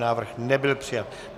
Návrh nebyl přijat.